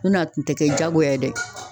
Ɲɔn tɛ a kun te kɛ jagoya ye dɛ.